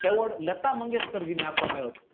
પહેલો લતામંગેશકરજી ને આપવામાં આવ્યો હતો